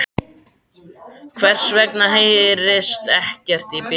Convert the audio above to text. Hvers vegna heyrist ekkert í bílunum?